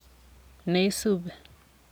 ne isubi.